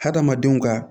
Hadamadenw ka